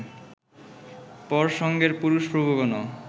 পর সঙ্গের পুরুষ প্রভুগণ